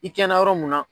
I kɛ na yɔrɔ mun na